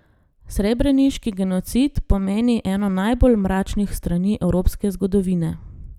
Srebreniški genocid pomeni eno najbolj mračnih strani evropske zgodovine.